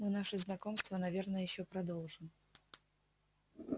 мы наше знакомство наверное ещё продолжим